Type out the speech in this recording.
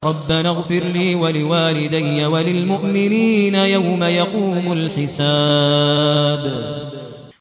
رَبَّنَا اغْفِرْ لِي وَلِوَالِدَيَّ وَلِلْمُؤْمِنِينَ يَوْمَ يَقُومُ الْحِسَابُ